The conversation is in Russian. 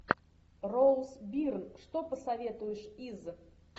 роуз бирн что посоветуешь из